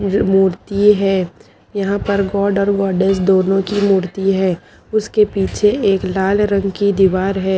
मूर्ति हैं यहा पर दोनों की मूर्ति हैं उसके पीछे एक लाल रंग की दीवार हैं।